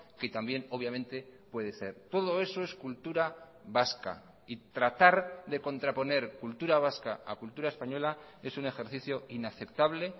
que también obviamente puede ser todo eso es cultura vasca y tratar de contraponer cultura vasca a cultura española es un ejercicio inaceptable